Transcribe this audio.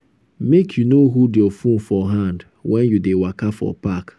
make you no hold you phone for hand wen you dey waka for park.